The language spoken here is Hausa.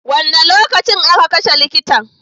Wane lokaci a ka kashe likitan?